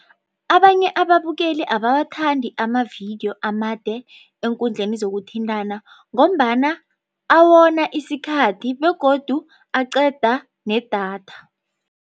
Abanye ababukeli abawathandi amavidiyo amade eenkundleni zokuthintana ngombana awona isikhathi begodu aqeda nedatha.